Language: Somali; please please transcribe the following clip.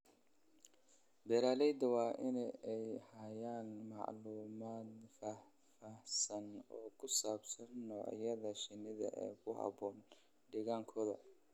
Beeralayda waa in ay hayaan macluumaad faahfaahsan oo ku saabsan noocyada shinnida ee ku haboon deegaankooda.